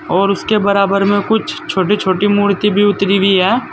और उसके बराबर में कुछ छोटी छोटी मूर्ति भी उतारी हुई है।